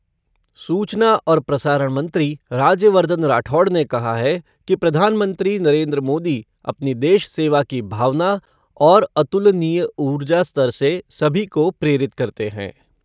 सूचना और प्रसारण मंत्री, राज्यवर्धन राठौड़ ने कहा है कि प्रधानमंत्री नरेन्द्र मोदी अपनी देश सेवा की भावना और अतुलनीय ऊर्जा स्तर से सभी को प्रेरित करते हैं।